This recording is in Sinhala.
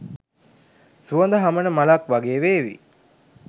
සුවඳ හමන මලක් වගේ වේවි.